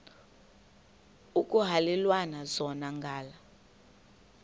ekuhhalelwana zona ngala